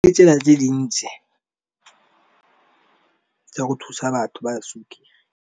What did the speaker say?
Ditsela tse dintsi tsa go thusa batho ba .